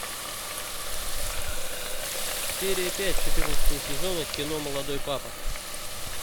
серия пять четырнадцатого сезона кино молодой папа